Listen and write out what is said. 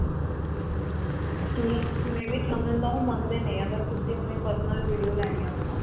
thousand ਤਾਂ ਓਹ ਮੰਗਦੇ ਨੇ, ਅਗਰ ਤੁਸੀ ਆਪਣੀ personal video ਲੈਣੀ ਹੈ ਉਥੋਂ.